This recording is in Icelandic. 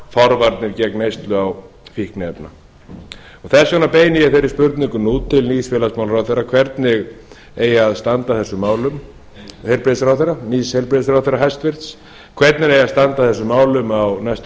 forvarnir gegn neyslu á fíkniefnum þess vegna beini ég þeirri spurningum nú til nýs heilbrigðismálaráðherra hæstvirtur hvernig eigi að standa að þessum málum á næstu